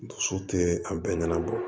Dusu tɛ a bɛɛ ɲɛnabɔ